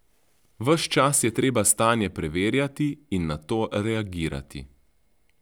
Ves čas je treba stanje preverjati in na to reagirati.